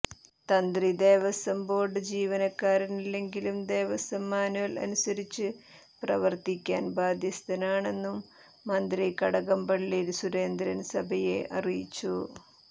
തന്ത്രി ദേവസ്വം ബോർഡ് ജീവനക്കാരനല്ലെങ്കിലും ദേവസ്വം മാന്വൽ അനുസരിച്ച് പ്രവർത്തിക്കാൻ ബാധ്യസ്തനാണെന്നും മന്ത്രി കടകംപള്ളി സുരേന്ദ്രൻ സഭയെ അറിയിച്ചു